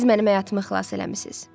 Siz mənim həyatımı xilas eləmisiz.